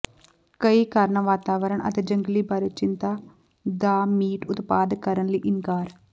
ਕਈ ਕਾਰਨ ਵਾਤਾਵਰਣ ਅਤੇ ਜੰਗਲੀ ਬਾਰੇ ਚਿੰਤਾ ਦਾ ਮੀਟ ਉਤਪਾਦ ਕਰਨ ਲਈ ਇਨਕਾਰ